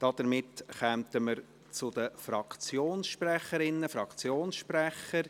Somit kommen wir zu den Fraktionssprecherinnen und Fraktionssprechern.